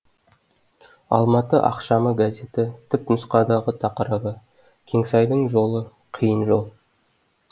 алматы ақшамы газеті түп нұсқадағы тақырыбы кеңсаи дың жолы қиын жол